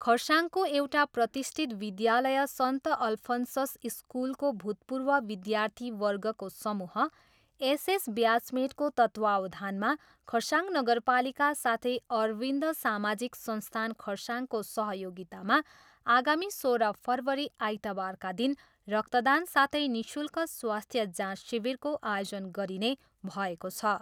खरसाङको एउटा प्रतिष्ठित विद्यालय सन्त अल्फन्सस स्कुलको भूतपूर्व विध्यार्थीवर्गको समूह एसएस ब्याचमेटको तत्त्वावधानमा खरसाङ नगरपालिका साथै अरविन्द सामाजिक संस्थान खरसाङको सहयोगितामा आगामी सोह्र फरवरी आइतबारका दिन रक्तदान साथै निःशुल्क स्वास्थ्य जाँच शिविरको आयोजन गरिने भएको छ।